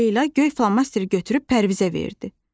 Leyla göy flomasteri götürüb Pərvizə verdi.